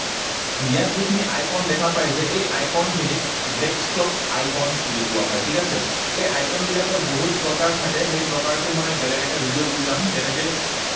ইয়াত যিখিনি icon দেখা পায় যে এই icon খিনি desktop icons বুলি কোৱা হয়, ঠিক আছে? এই icon বিলাকৰ বহুত প্ৰকাৰ থাকে। সেই প্ৰকাৰটো মই বেলেগ এটা ভিডিঅত বুজাম। যেনেকৈ